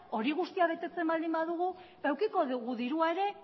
hori guztia betetzen baldin badugu ba edukiko dugu dirua ere